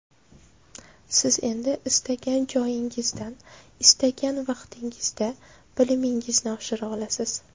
Siz endi istagan joyingizdan, istagan vaqtingizda bilimingizni oshira olasiz.